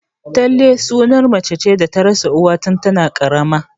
Tallace suna mace da ta rasa uwa tun tana ƙaramar